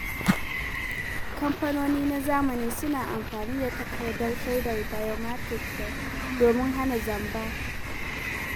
Kamfanoni na zamani suna amfani da takardar shaidar biometric domin hana zamba.